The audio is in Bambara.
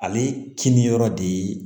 Ale kini yɔrɔ de ye